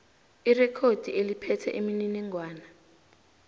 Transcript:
irekhodi eliphethe imininingwana